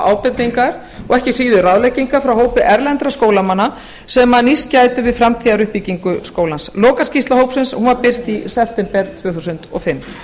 ábendingar og ekki síður ráðleggingar frá hópi erlendra háskólamanna sem nýst gætu við framtíðaruppbyggingu skólans lokaskýrsla hópsins var birt í september tvö þúsund og fimm